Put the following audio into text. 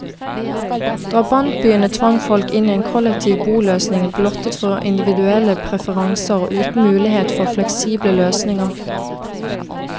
Drabantbyene tvang folk inn i en kollektiv boløsning, blottet for individuelle preferanser og uten mulighet for fleksible løsninger.